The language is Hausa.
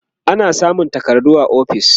ana samun takardu a ofis